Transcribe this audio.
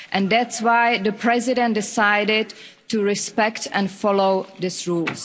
That is why the President decided to respect and follow this rule.